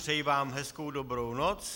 Přeji vám hezkou dobrou noc.